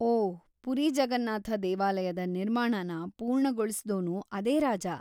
ಓಹ್, ಪುರಿ ಜಗನ್ನಾಥ ದೇವಾಲಯದ ನಿರ್ಮಾಣನ ಪೂರ್ಣಗೊಳಿಸ್ದೋನೂ ಅದೇ ರಾಜ.